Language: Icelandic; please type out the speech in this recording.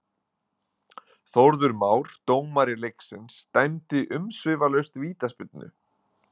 Þórður Már, dómari leiksins dæmdi umsvifalaust vítaspyrnu.